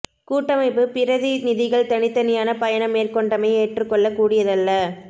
கூட்டமைப்பு பிரதி நிதிகள் தனித்தனியான பயணம் மேற்கொண்டமை ஏற்றுக் கொள்ளக் கூடியதல்ல